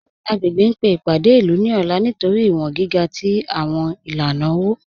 Agbègbè ń pe ipádé ilú ní ọ̀là nítorí iwọ̀n gíga tí awọn ilànà owo